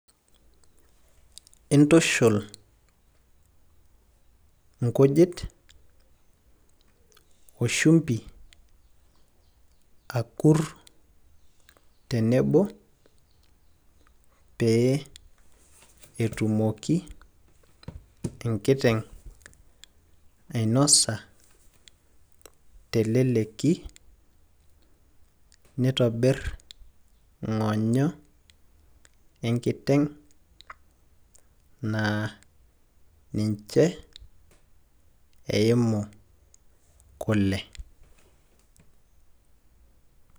intushul inkujit,o shumpi, akur, tenebo. pee, etumoki enkiteng' ainosa, teleleki neitobir ing'onyo enkiteng' naa ninche eimu kule.